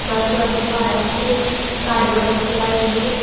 ಮತ್ತು ಅಲ್ಲಿ ಬಹಳಷ್ಟು ಗಾಡಿಗಳು ಕೂಡ ಇವೆ.